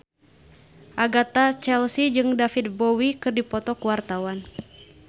Agatha Chelsea jeung David Bowie keur dipoto ku wartawan